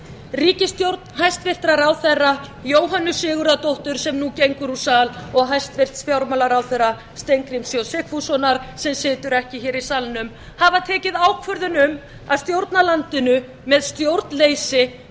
ríkisstjórn hæstvirtur ráðherra jóhönnu sigurðardóttur sem nú gengur úr sal og hæstvirtur fjármálaráðherra steingríms j sigfússonar sem situr ekki hér í salnum hafa tekið ákvörðun um að stjórna landinu með stjórnleysi